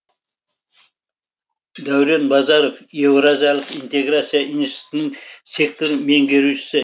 дәурен базаров еуразиялық интеграция институтының сектор меңгерушісі